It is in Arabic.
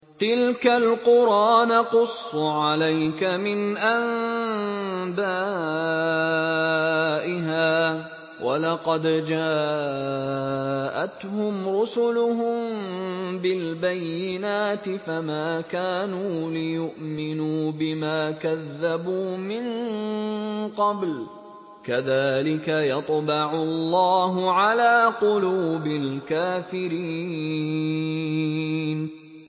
تِلْكَ الْقُرَىٰ نَقُصُّ عَلَيْكَ مِنْ أَنبَائِهَا ۚ وَلَقَدْ جَاءَتْهُمْ رُسُلُهُم بِالْبَيِّنَاتِ فَمَا كَانُوا لِيُؤْمِنُوا بِمَا كَذَّبُوا مِن قَبْلُ ۚ كَذَٰلِكَ يَطْبَعُ اللَّهُ عَلَىٰ قُلُوبِ الْكَافِرِينَ